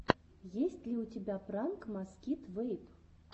есть ли у тебя пранк маскит вэйп